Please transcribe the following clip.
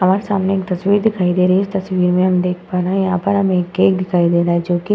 हमारे सामने एक तस्वीर दिखाई दे रही है। इस तस्वीर में हम देख पा रहे है यहाँ पर हमें एक केक दिखाई दे रहा है जोकि --